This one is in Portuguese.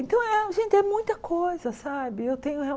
Então, eh gente, é muita coisa, sabe? Eu tenho